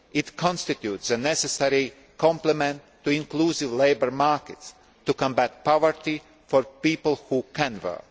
work. It constitutes a necessary complement to inclusive labour markets, to combat poverty for people who can